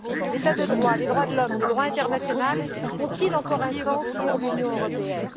L'état de droit, les droits de l'homme, le droit international ont ils encore un sens pour l'Union européenne?